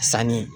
Sanni